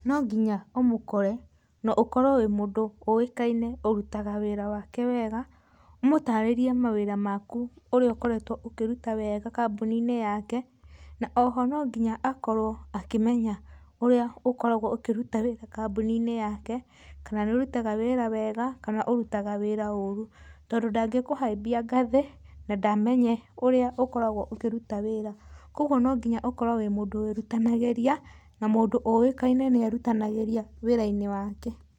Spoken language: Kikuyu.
No nginya ũmũkore na ũkorwo wĩ mũndũ ũĩkaine ũrutaga wĩra wake wega, ũmũtarĩrie mawĩra maku ũrĩa ũkoretwo ũkĩruta wega kambuninĩ yake, na oho no nginya akorwo akĩmenya ũrĩa ũkoragwo ũkĩruta wĩra kambuninĩ yake, kana nĩ ũrutaga wĩra wega, kana ũrutaga wĩra ũru tondũ ndangĩkũhaimbia ngathĩ na ndamenye ũrĩa ũkoragwo ũkĩruta wĩra. Koguo no nginya ũkorwo wĩ mũndũ wĩrutanagĩria na mũndũ ũĩkaine nĩ erutanagĩria wĩra-inĩ wake.